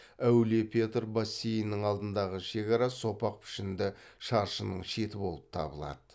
әулие петр бассейнінің алдындағы шекара сопақ пішінді шаршының шеті болып табылады